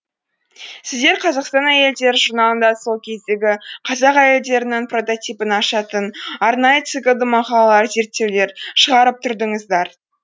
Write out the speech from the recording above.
сіздер қазақстан әйелдері журналында сол кездегі қазақ әйелдерінің прототипін ашатын арнайы циклды мақалалар зерттеулер шығарып тұрдыңыздар